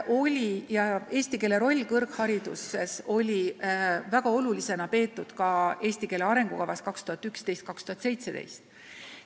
Eesti keele rolli kõrghariduses peeti väga oluliseks näiteks "Eesti keele arengukavas 2011–2017".